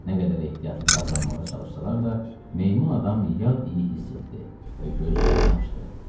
Nə qədər ehtiyatlı davranmağa çalışsalar da, meymun adam yad iyi hiss etdi və gözlərini açdı.